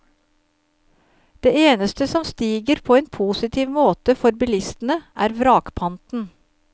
Det eneste som stiger på en positiv måte for bilistene, er vrakpanten.